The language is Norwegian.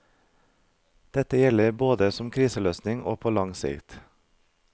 Dette gjelder både som kriseløsning og på lang sikt.